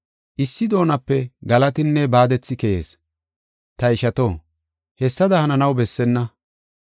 Issi doonape galatinne baadethi keyees. Ta ishato, hessada hananaw bessenna.